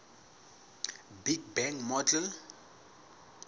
big bang model